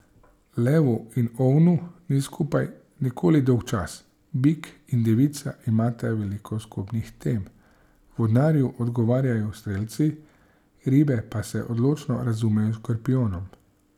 Levu in ovnu ni skupaj nikoli dolgčas, bik in devica imata veliko skupnih tem, vodnarju odgovarjajo strelci, ribe pa se odlično razumejo s škorpijonom.